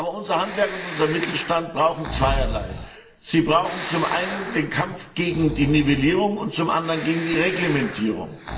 Aber unser Handwerk und unser Mittelstand brauchen zweierlei. Sie brauchen zum einen den Kampf gegen die Nivellierung und zum anderen gegen die Reglementierung.